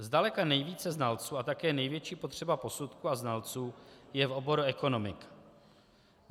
Zdaleka nejvíce znalců a také největší potřeba posudků a znalců je v oboru ekonomiky.